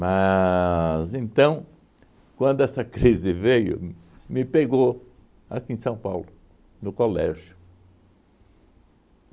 então, quando essa crise veio, me pegou aqui em São Paulo, no colégio.